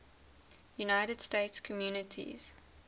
united states communities